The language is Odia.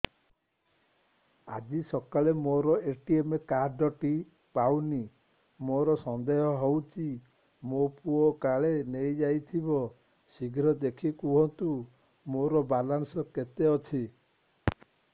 ଆଜି ସକାଳେ ମୋର ଏ.ଟି.ଏମ୍ କାର୍ଡ ଟି ପାଉନି ମୋର ସନ୍ଦେହ ହଉଚି ମୋ ପୁଅ କାଳେ ନେଇଯାଇଥିବ ଶୀଘ୍ର ଦେଖି କୁହନ୍ତୁ ମୋର ବାଲାନ୍ସ କେତେ ଅଛି